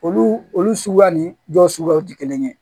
Olu olu suguya ni dɔ suguyaw tɛ kelen ye